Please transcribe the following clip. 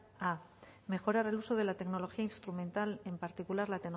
a mejorar el uso de la tecnología instrumental en particular la